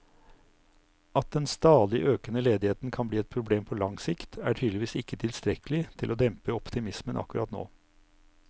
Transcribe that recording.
At den stadig økende ledigheten kan bli et problem på lang sikt, er tydeligvis ikke tilstrekkelig til å dempe optimismen akkurat nå.